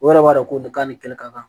O yɛrɛ b'a dɔn ko nin kan nin kɛli ka kan